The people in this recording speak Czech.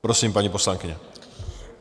Prosím, paní poslankyně.